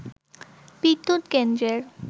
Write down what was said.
বিদ্যুৎ কেন্দ্রের